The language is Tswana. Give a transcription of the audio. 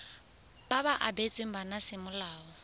ba ba abetsweng bana semolao